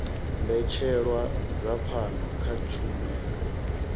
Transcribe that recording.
mbetshelwa dza pfano kha tshumelo